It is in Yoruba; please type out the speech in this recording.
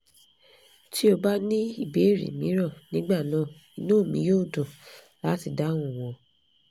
tí o bá ní ìbéèrè mìíràn nígbà náà inú mi yóò dùn láti dáhùn wọn